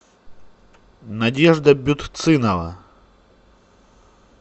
надежда бютцинова